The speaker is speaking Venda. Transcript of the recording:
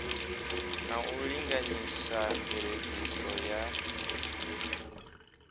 na u linganyisa mveledziso ya